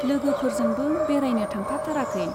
लोगोफोरजोंबो बेरायनो थांफाथाराखै।